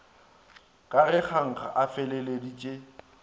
ka ge kgankga a feleleditše